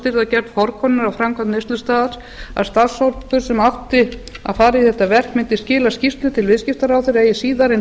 að gerð forkönnunar á framkvæmd neyslustaðals að starfshópur sem átti að fara í þetta verk mundi skila skýrslu til viðskiptaráðherra eigi síðar en